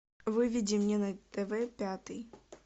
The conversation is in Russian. выведи мне на тв пятый